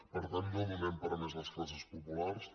per tant no donem per a més les classes populars